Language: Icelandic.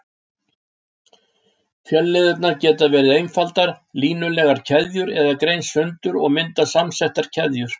Fjölliðurnar geta verið einfaldar, línulegar keðjur eða greinst sundur og myndað samsettar keðjur.